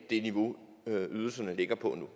niveau ydelserne ligger på nu